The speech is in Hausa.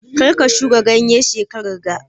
Karka shuka ganye shekaran ga